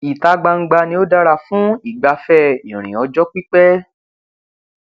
ìta gbangba ni ó dára fún ìgbafẹ ìrìn ọjọ pípẹ